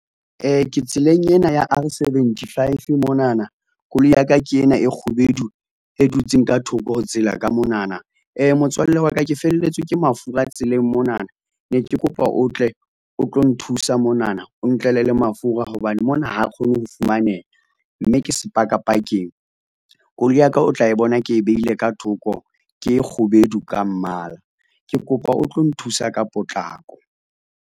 Ke tseleng ena ya R seventy five monana koloi ya ka ke ena e kgubedu e dutseng ka thoko ho tsela ka monana, motswalle wa ka ke felletswe ke mafura tseleng monana ne ke kopa o tle o tlo nthusa monana o ntlele le mafura hobane mona ha kgone ho fumaneha, mme ke sepakapakeng. Koloi ya ka o tla e bona ke e behile ka thoko, ke e kgubedu ka mmala, ke kopa o tlo nthusa ka potlako.